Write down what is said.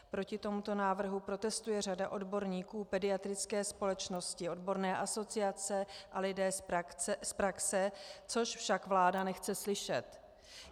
Proti tomuto návrhu protestuje řada odborníků, pediatrické společnosti, odborné asociace a lidé z praxe, což však vláda nechce slyšet.